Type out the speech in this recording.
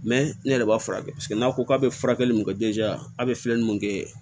Mɛ ne yɛrɛ b'a furakɛ n'a ko k'a bɛ furakɛli mun kɛ a bɛ filɛli mun kɛ